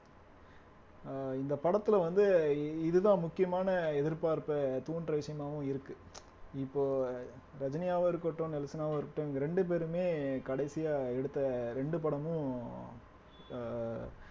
அஹ் இந்த படத்துல வந்து இ இதுதான் முக்கியமான எதிர்பார்ப்ப தூண்டுற விஷயமாவும் இருக்கு இப்போ ரஜினியாவும் இருக்கட்டும் நெல்சனாவும் இருக்கட்டும் இவுங்க இரண்டு பேருமே கடைசியா எடுத்த இரண்டு படமும் ஆஹ்